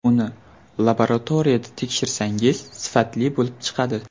Uni laboratoriyada tekshirsangiz, sifatli bo‘lib chiqadi.